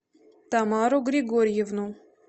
тамару григорьевну